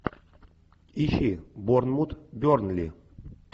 ищи борнмут бернли